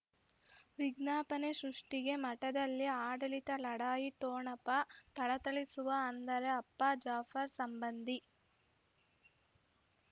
ವಿಜ್ಞಾಪನೆ ಸೃಷ್ಟಿಗೆ ಮಠದಲ್ಲಿ ಆಡಳಿತ ಲಢಾಯಿ ಠೊಣಪ ಥಳಥಳಿಸುವ ಅಂದರೆ ಅಪ್ಪ ಜಾಫರ್ ಸಂಬಂಧಿ